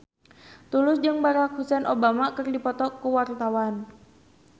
Tulus jeung Barack Hussein Obama keur dipoto ku wartawan